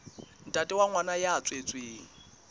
ntate wa ngwana ya tswetsweng